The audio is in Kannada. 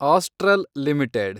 astral limited